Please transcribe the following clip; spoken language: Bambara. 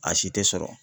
A si tɛ sɔrɔ